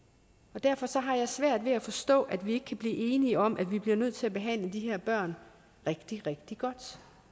og derfor har jeg svært ved at forstå at vi ikke kan blive enige om at vi bliver nødt til at behandle de her børn rigtig rigtig godt